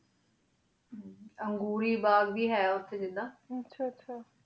ਅਨ੍ਘੁਨ ਬਾਘ ਵੇ ਹੀ ਉਠੀ ਆਹ ਆਹ